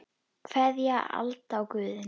Kveðja, Alda og Guðni.